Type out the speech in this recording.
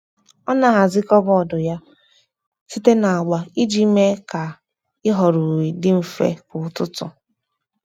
Ọ́ nà-ahàzị́ kàbọ́ọ̀dù yá site na agba iji mee kà ị́họ́rọ́ uwe dị mfe kwa ụ́tụ́tụ́.